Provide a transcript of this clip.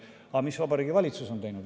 Aga mis on Vabariigi Valitsus teinud?